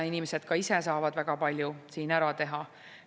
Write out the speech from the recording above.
Inimesed saavad ka ise selleks väga palju ära teha.